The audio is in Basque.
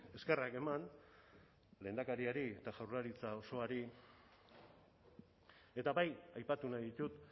eskerrak eman lehendakariari eta jaurlaritza osoari eta bai aipatu nahi ditut